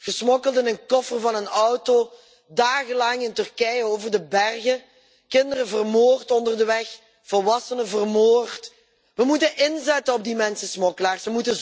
Gesmokkeld in de koffer van een auto, dagenlang in Turkije over de bergen, kinderen vermoord onderweg, volwassenen vermoord. We moeten inzetten op die mensensmokkelaars.